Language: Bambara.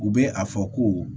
U bɛ a fɔ ko